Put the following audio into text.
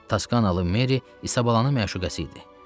Taskanalı Meri İsabalanın məşuqəsi idi.